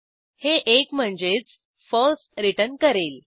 हे एक म्हणजेच फळसे रिटर्न करेल